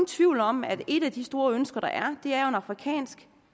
tvivl om at et af de store ønsker der er er en afrikansk